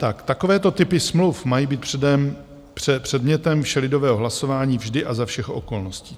Takovéto typy smluv mají být předmětem všelidového hlasování vždy a za všech okolností.